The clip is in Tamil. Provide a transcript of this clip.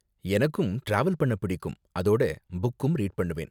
எனக்கும் டிராவல் பண்ண பிடிக்கும், அதோட புக்கும் ரீட் பண்ணுவேன்.